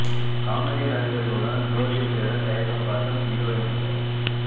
comedy நடிகர்களுடன் ஜோடி சேர தயக்கம் காட்டும் ஹீரோயின்கள்